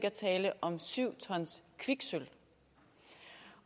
at tale om syv ton kviksølv